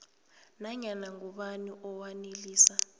nanyana ngubani owanelisa